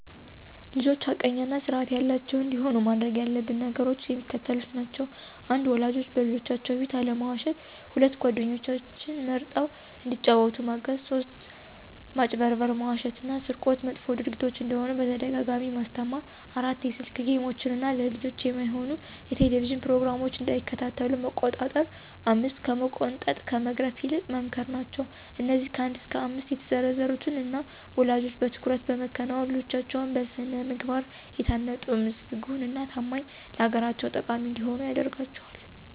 ልጆች ሐቀኛ እና ስርአት ያላቸዉ እንዲሆኑ ማድረግ ያለብን ነገሮች የሚከተሉት ናቸዉ። 1. ወላጆች በልጆቻችን ፊት አለመዋሸት 2. ጓደኞችን መርጠዉ እንዲጫወቱ ማገዝ 3. ማጭበርበር፣ መዋሸት እና ስርቆት መጥፎ ድርጊቶች እንደሆኑ በተደጋጋሚ ማስተማር 4. የስክ ጌሞችን እና ለልጆች የማይሆኑ የቴሌቭዥን ፕሮግራሞች እንዳይከታተሉ መቆጣጠር 5ከመቆንጠጥ ከመግረፍ ይልቅ መምከር ናቸዉ። አነዚህ ከ1 እስከ 5 የተዘረዘሩትን እኛ ወለጆች በትኩረት በመከወን ልጆቻችን በስነ ምግባር የታነጡ ምስጉን እና ታማኝ ለአገራቸው ጠቃሚ እንዲሆኑ ያደርጋቸዋል።